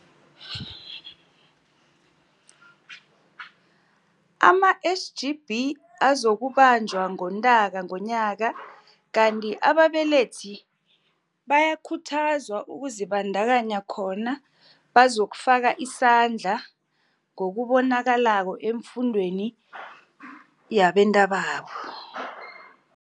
ama-SGB, azokubanjwa ngoNtaka nonyaka, kanti ababelethi bayakhuthazwa ukuzibandakanya khona bazokufaka isandla ngokubonakalako efundweni yabentababo.